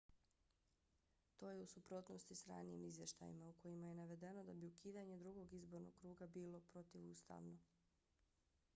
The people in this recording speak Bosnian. to je u suprotnosti s ranijim izvještajima u kojima je navedeno da bi ukidanje drugog izbornog kruga bilo protivustavno